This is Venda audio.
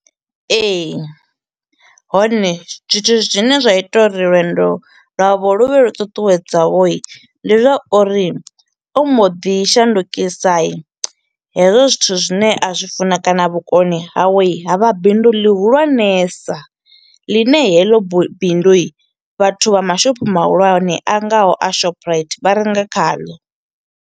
Ee, hone zwithu zwine zwa ita uri lwendo lwavho lu vhe lu ṱuṱuwedzaho ndi zwa uri, ombo ḓi shandukisa hezwo zwithu zwithu zwine a zwi funa kana vhukoni hawe ha vha bindu ḽi hulwanesa, ḽine heḽo bindu vhathu vha mashopho mahulwane a ngaho a Shoprite vha renga khaḽo.